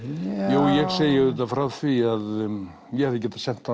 jú ég segi auðvitað frá því að ég hefði getað sent